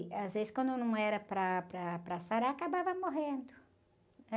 E, às vezes, quando não era para, para, para sarar, acabava morrendo, né?